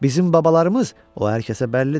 Bizim babalarımız o hər kəsə bəllidir.